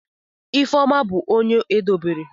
Ifeoma bu onye edobere.